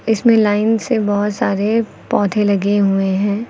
इसमें लाइन से बहुत सारे पौधे लगे हुए हैं।